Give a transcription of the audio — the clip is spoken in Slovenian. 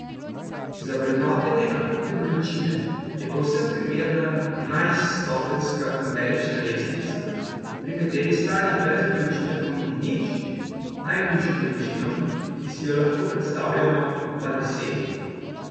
Za vrednotenje akutne bolečine je povsem primerna enajststopenjska numerična lestvica, pri kateri stanje brez bolečine pomeni nič, najhujšo bolečino, ki si jo lahko predstavljamo, pa deset.